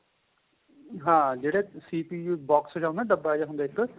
ਹਾਂ ਜਿਹੜਾ CPU box ਜਾਂ ਹੁੰਦਾ ਡੱਬਾ ਜਾਂ ਹੁੰਦਾ ਇੱਕ